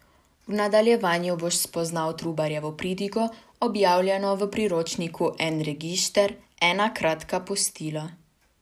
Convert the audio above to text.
V nadaljevanju boš spoznal Trubarjevo pridigo, objavljeno v priročniku En regišter, ena kratka postila.